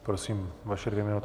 Prosím vaše dvě minuty.